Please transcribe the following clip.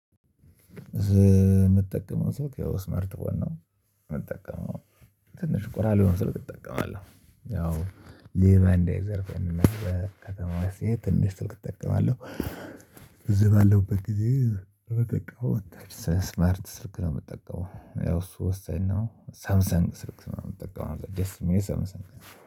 የምትጠቀመው ስልክ ስማርት ፎን ነው? የምትጠቀመው ትንሽ ቆራር የሆነ ስልክ እጠቀማለሁ። ያው ሌባ እንዳይዘፍፈኝ ነው በከተማው ትንሽ ስልክ እጠቀማለሁ። እዚህ ባለውበት ጊዜ ረቀቀው ስማርት ስልክ ነው። የምትጠቀመው ያው እሱ ወሳኝ ነው። ሳምሰንግ ስልክ የምትጠቀመው ደስ የሚል ሳምሰንግ